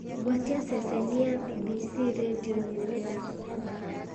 gwatia ceceni ya bbc rĩndiũ ĩmwe nĩ ndakũhoya